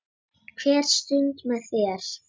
Hver stund með þér.